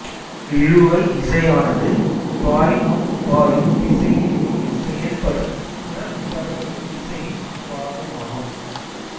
இழுவை விசையானது பாய்மம் பாயும் திசையிலேயே செயல்படும் புறப்பரப்பு விசையின் பாகமாகும்